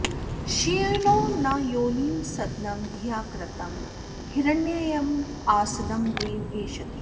श्येनो न योनिं सदनं धिया कृतं हिरण्ययमासदं देव एषति